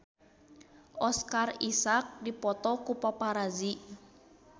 Oscar Isaac dipoto ku paparazi